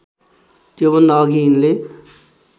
त्योभन्दा अघि यिनले